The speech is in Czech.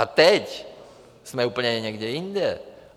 A teď jsme úplně někde jinde.